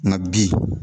Nka bi